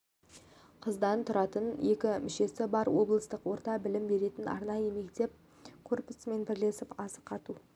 қыздан тұратын екі мүшесі бар облыстық орта білім беретін арайы мектеп корпусымен бірлесіп асық ату